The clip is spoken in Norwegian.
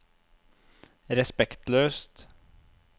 respektløst